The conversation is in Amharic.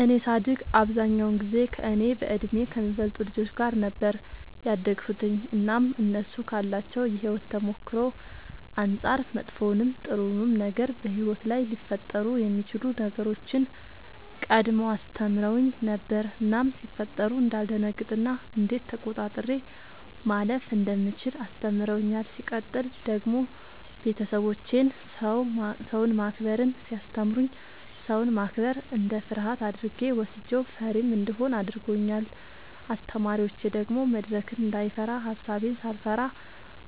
እኔ ሳድግ አብዛኛውን ጊዜ ከእኔ በእድሜ ከሚበልጡ ልጆች ጋር ነበር ያደግሁትኝ እናም እነሱ ካላቸው የሕይወት ተሞክሮ አንጻር መጥፎውንም ጥሩውንም ነገር በሕይወት ላይ ሊፈጠሩ የሚችሉ ነገሮችን ቀድመው አስተምረውኝ ነበር እናም ሲፈጠሩ እንዳልደነግጥ እና እንዴት ተቆጣጥሬ ማለፍ እንደምችል አስተምረውኛል። ሲቀጥል ደግሞ ቤተሰቦቼ ሰውን ማክበርን ሲያስተምሩኝ ሰውን ማክበር እንደ ፍርሃት አድርጌ ወስጄው ፈሪም እንደሆን አድርገውኛል። አስተማሪዎቼ ደግሞ መድረክን እንዳይፈራ ሐሳቤን ሳልፈራ